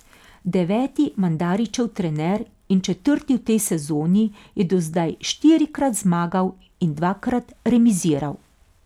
Deveti Mandarićev trener in četrti v tej sezoni je do zdaj štirikrat zmagal in dvakrat remiziral.